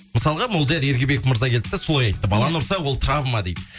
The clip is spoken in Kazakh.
мысалға молдияр ергебек мырза келді да солай айтты баланы ұрса ол травма дейді